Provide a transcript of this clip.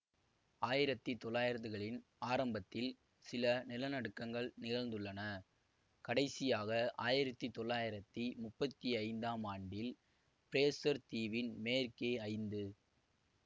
ஆயிரத்தி தொள்ளாயிரதுகளின் ஆரம்பத்தில் சில நிலநடுக்கங்கள் நிகழ்ந்துள்ளன கடைசியாக ஆயிரத்தி தொள்ளாயிரத்தி முப்பத்தி ஐந்தாம் ஆண்டில் பிரேசர் தீவின் மேற்கே ஐந்து